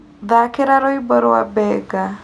thaakĩra rwĩmbo rwa benga